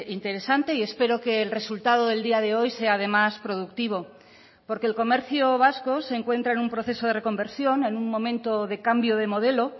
interesante y espero que el resultado del día de hoy sea además productivo porque el comercio vasco se encuentra en un proceso de reconversión en un momento de cambio de modelo